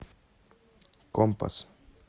компас